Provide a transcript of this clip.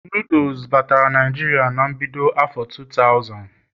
noodle batara Naijiria na mbido afo 2000